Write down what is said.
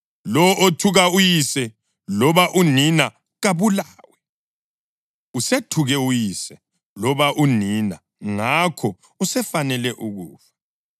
Lowo othuka uyise loba unina kabulawe. Usethuke uyise loba unina ngakho usefanele ukufa.